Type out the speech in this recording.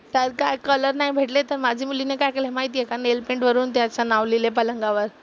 त्यात काय कलर नाही भेटले तर माझी मुलीने काय केलंय माहीत आहे का? नेलपेंट वरुन त्याचं नाव लिहिलंय पलंगावर.